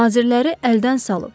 Nazirləri əldən salıb.